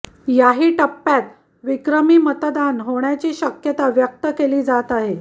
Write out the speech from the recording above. याही टप्प्यात विक्रमी मतदान होण्याची शक्यता व्यक्त केली जात आहे